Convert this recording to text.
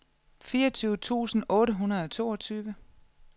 fireogtyve tusind otte hundrede og toogtyve